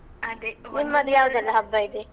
ಅದೇ ಯವ್ದೆಲ್ಲ ಹಬ್ಬ ಇದೆ?